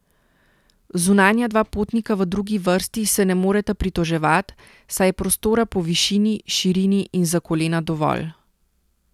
Zunanja dva potnika v drugi vrsti se ne moreta pritoževat, saj je prostora po višini, širini in za kolena dovolj.